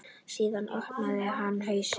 Síðan opnaði hann húsið.